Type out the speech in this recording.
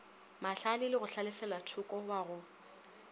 mahlale le go hlalefelathoko wago